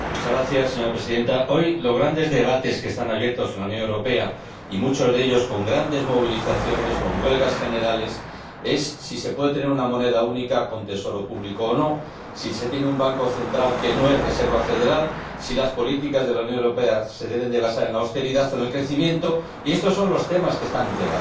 Señora Presidenta, hoy los grandes debates que están abiertos en la Unión Europea, y muchos de ellos con grandes movilizaciones, con huelgas generales, giran en torno a si se puede tener una moneda única con tesoro público, si se puede tener un banco central que no sea reserva federal o si las políticas de la Unión Europea se deben basar en la austeridad o en el crecimiento. Estos son los temas objeto de debate.